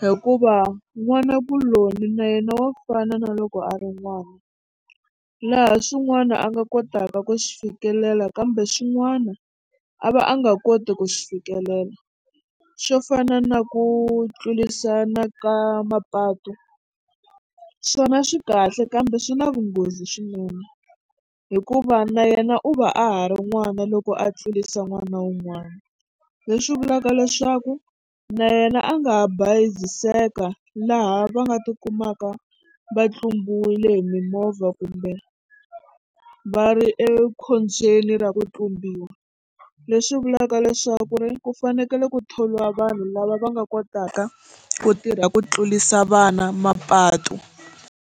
hikuva n'wanakuloni na yena wa fana na loko a ri n'wana laha swin'wana a nga kotaka ku swi fikelela kambe swin'wana a va a nga koti ku swi fikelela swo fana na ku tlulerisana ka mapatu swona swi kahle kambe swi na vunghozi swinene hikuva na yena u va a ha ri n'wana loko a tlulisa n'wana wun'wana leswi vulaka leswaku na yena a nga ha bayiziseka laha va nga tikumaka va tlumbiwile hi mimovha kumbe va ri ekhombyeni ra ku tlumbiwa leswi vulaka leswaku ri ku fanekele ku thoriwa vanhu lava va nga kotaka ku tirha ku tlurisa vana mapatu.